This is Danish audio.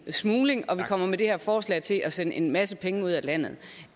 smuglingen og vi kommer med det her forslag til at sende en masse penge ud af landet